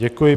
Děkuji.